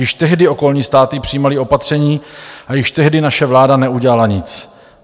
Již tehdy okolní státy přijímaly opatření a již tehdy naše vláda neudělala nic.